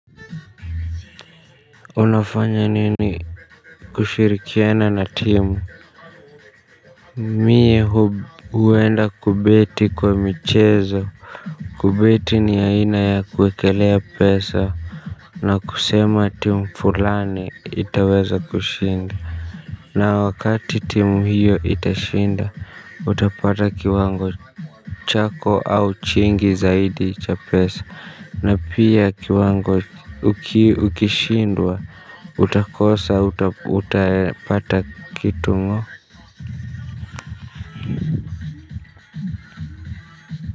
Unafanya nini kushirikiana na timu. Mie huenda kubeti kwa michezo. Kubeti ni aina ya kuekelea pesa. Na kusema timu fulani itaweza kushinda. Na wakati timu hiyo itashinda utapata kiwango chako au chingi zaidi cha pesa na pia kiwango uki ukishindwa utakosa utapata kitu ng'o.